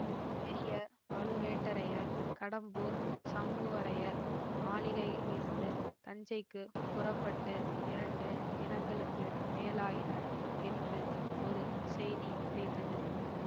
பெரிய பழுவேட்டரையர் கடம்பூர் சம்புவரையர் மாளிகையிலிருந்து தஞ்சைக்கு புறப்பட்டு இரண்டு தினங்களுக்கு மேலாயின என்று ஒரு செய்தி கிடைத்தது